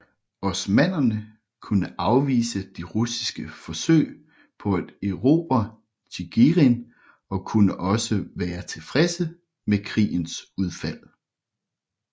Osmannerne kunne afvise de russiske forsøg på at erobre Tjigirin og kunne også være tilfredse med krigens udfald